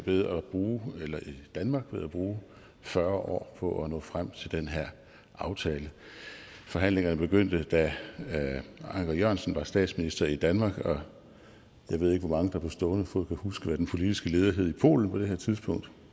ved at bruge bruge fyrre år på at nå frem til den her aftale forhandlingerne begyndte da anker jørgensen var statsminister i danmark og jeg ved ikke hvor mange der på stående fod kan huske hvad den politiske leder hed i polen på det her tidspunkt